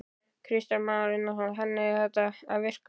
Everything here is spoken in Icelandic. Kristján Már Unnarsson: Þannig að þetta er að virka?